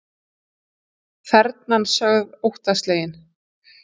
Þernan sögð óttaslegin